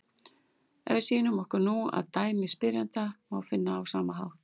Ef við snúum okkur nú að dæmi spyrjanda má finna á sama hátt: